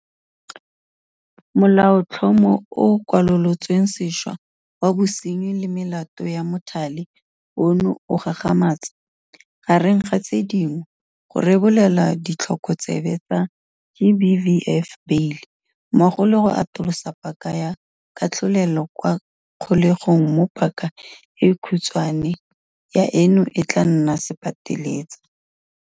Molaotlhomo o o Kwalolotswe Sešwa wa Bosenyi le Melato ya Mothale ono o gagamatsa, gareng ga tse dingwe, go rebolela ditlhokotsebe tsa GBVF beile, mmogo le go atolosa paka ya katlholelo kwa kgolegong mo paka e khutshwane ya eno e tla nnang sepateletsa.